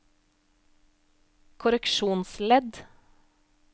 korreksjonsledd